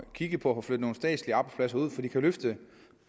kigget på at få flyttet nogle statslige arbejdspladser ud for det kan løfte